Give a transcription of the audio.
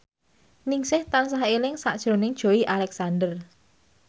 Ningsih tansah eling sakjroning Joey Alexander